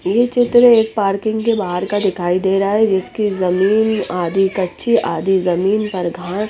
ये चित्र एक पार्किंग के बाहर का दिखाई दे रहा है जिसके जमीन आदि कच्ची आदि जमीन पर घास--